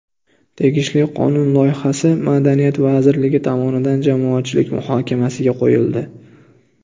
Tegishli qonun loyihasi Madaniyat vazirligi tomonidan jamoatchilik muhokamasiga qo‘yildi.